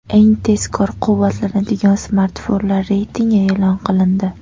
Eng tezkor quvvatlanadigan smartfonlar reytingi e’lon qilindi.